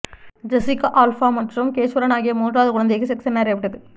Jessica Alba மற்றும் Cash Warren ஆகிய மூன்றாவது குழந்தைக்கு செக்ஸ் என அறியப்பட்டது